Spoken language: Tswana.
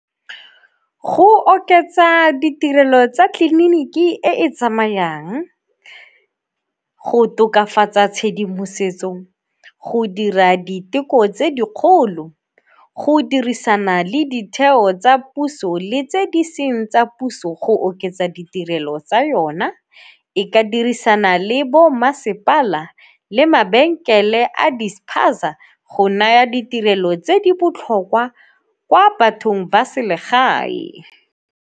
Go oketsa ditirelo tsa tleliniki e e tsamayang, go tokafatsa tshedimosetso, go dira diteko tse dikgolo, go dirisana le ditheo tsa puso le tse di seng tsa puso go oketsa ditirelo tsa yona. E ka dirisana le bo masepala le mabenkele a di-spaza go naya ditirelo tse di botlhokwa kwa bathong ba selegae.